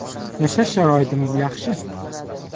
Yashash sharoitimiz yaxshi.